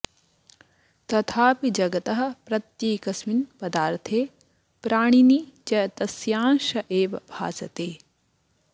तथापि जगतः प्रत्येकस्मिन् पदार्थे प्राणिनि च तस्यांश एव भासते